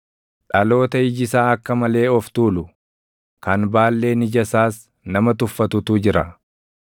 dhaloota iji isaa akka malee of tuulu, kan baalleen ija isaas nama tuffatutu jira;